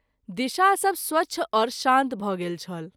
दिशा सभ स्वच्छ आओर शान्त भ’ गेल छल।